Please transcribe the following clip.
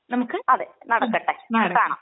നമുക്ക്. അതേ നടക്കട്ടെ. കാണാം.